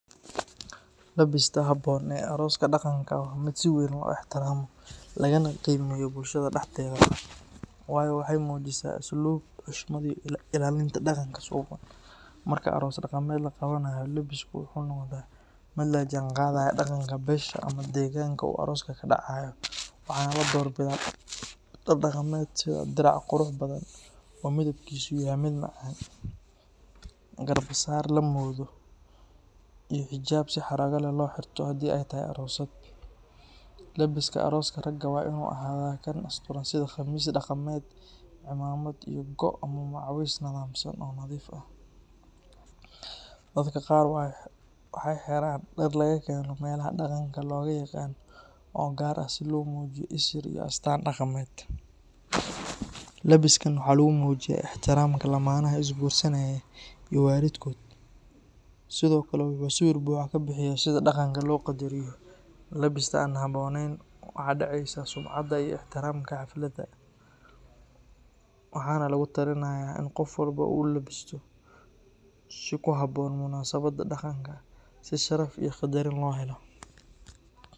Labista habboon ee arooska dhaqanka waa mid si weyn loo ixtiraamo lagana qiimeeyo bulshada dhexdeeda, waayo waxay muujisaa asluub, xushmad, iyo ilaalinta dhaqanka suuban. Marka aroos dhaqameed la qabanayo, labisku wuxuu noqdaa mid la jaanqaadaya dhaqanka beesha ama deegaanka uu arooska ka dhaco, waxaana la doorbidaa dhar dhaqameed sida dirac qurux badan oo midabkiisu yahay mid macaan, garbasaar la moodo, iyo xijaab si xarrago leh loo xirto haddii ay tahay aroosad. Labiska arooska raga waa inuu ahaadaa kan asturan sida khamiis dhaqameed, cimaamad, iyo go' ama macawis nadaamsan oo nadiif ah. Dadka qaar waxay xiraan dhar laga keeno meelaha dhaqanka looga yaqaan oo gaar ah si loo muujiyo isir iyo astaan dhaqameed. Labiskan waxaa lagu muujiyaa ixtiraamka lammaanaha isguursanaya iyo waalidkood, sidoo kale wuxuu sawir buuxa ka bixiyaa sida dhaqanka loo qadariyo. Labista aan habboonayn waxay dhaawacaysaa sumcadda iyo ixtiraamka xafladda, waxaana lagula taliyaa in qof walba uu u labisto si ku habboon munaasabadda dhaqanka si sharaf iyo qadarin loo helo